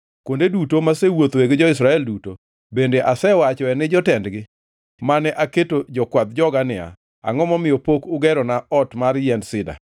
Kuonde duto masewuothoe gi jo-Israel duto, bende asewachoe ni jotendgi mane aketo jokwadh joga niya, “Angʼo momiyo pok ugerona ot mar yiend sida?” ’